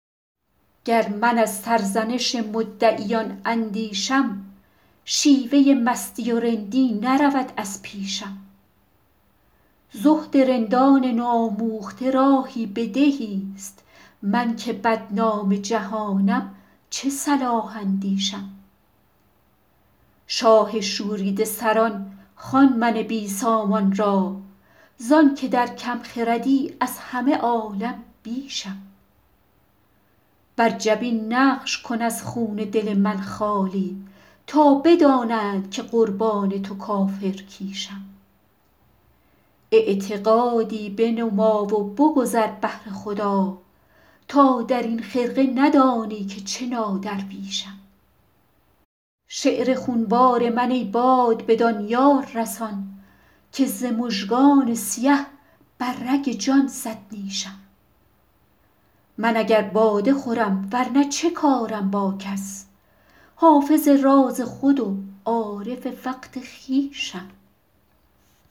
گر من از سرزنش مدعیان اندیشم شیوه مستی و رندی نرود از پیشم زهد رندان نوآموخته راهی به دهیست من که بدنام جهانم چه صلاح اندیشم شاه شوریده سران خوان من بی سامان را زان که در کم خردی از همه عالم بیشم بر جبین نقش کن از خون دل من خالی تا بدانند که قربان تو کافرکیشم اعتقادی بنما و بگذر بهر خدا تا در این خرقه ندانی که چه نادرویشم شعر خونبار من ای باد بدان یار رسان که ز مژگان سیه بر رگ جان زد نیشم من اگر باده خورم ور نه چه کارم با کس حافظ راز خود و عارف وقت خویشم